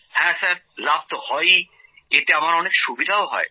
হ্যাঁ লাভ তো হয়েই এতে আমার অনেক সুবিধা হয়